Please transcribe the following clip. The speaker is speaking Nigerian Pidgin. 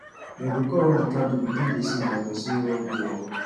dem go con on di candle begin dey sing like person wey wan go war